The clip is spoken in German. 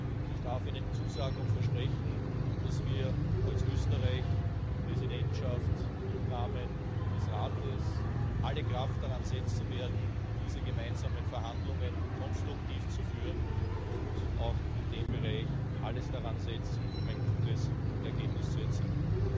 Und ich darf Ihnen zusagen und versprechen, dass wir als österreichische Präsidentschaft im Rahmen des Rates alle Kraft daransetzen werden, diese gemeinsamen Verhandlungen konstruktiv zu führen, und in dem Bereich alles daransetzen, um ein gutes Ergebnis zu erzielen.